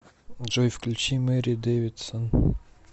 джой включи мэри дэвидсон